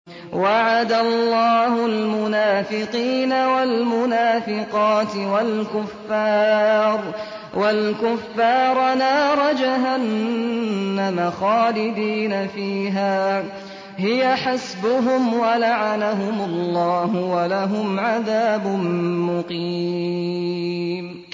وَعَدَ اللَّهُ الْمُنَافِقِينَ وَالْمُنَافِقَاتِ وَالْكُفَّارَ نَارَ جَهَنَّمَ خَالِدِينَ فِيهَا ۚ هِيَ حَسْبُهُمْ ۚ وَلَعَنَهُمُ اللَّهُ ۖ وَلَهُمْ عَذَابٌ مُّقِيمٌ